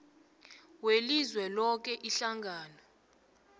welizwe loke ihlangano